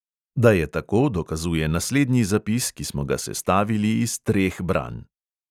Da je tako, dokazuje naslednji zapis, ki smo ga sestavili iz treh branj.